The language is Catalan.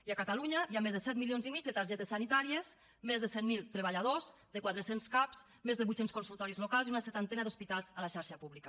i a catalunya hi ha més de set milions i mig de targetes sanitàries més de cent mil treballadors més de quatre cents cap més de vuit cents consultoris locals i una seixantena d’hospitals a la xarxa pública